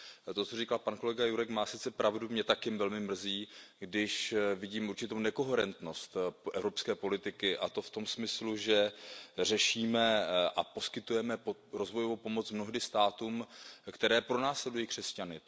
To, co říkal pak kolega Jurek, má sice pravdu, mě taky velmi mrzí, když vidím určitou nekoherentnost evropské politiky, a to v tom smyslu, že řešíme a poskytujeme rozvojovou pomoc mnohdy státům, které pronásledují křesťany.